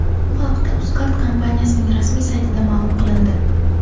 Bu haqda Uzcard kompaniyasining rasmiy saytida ma’lum qilindi .